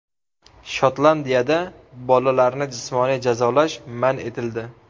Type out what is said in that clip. Shotlandiyada bolalarni jismoniy jazolash man etildi.